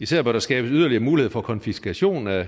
især hvor der skabes yderligere mulighed for konfiskation af